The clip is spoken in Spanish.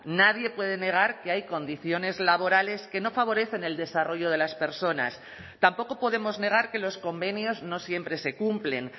nadie puede negar que hay condiciones laborales que no favorecen el desarrollo de las personas tampoco podemos negar que los convenios no siempre se cumplen